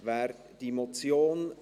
Wer diese Motion …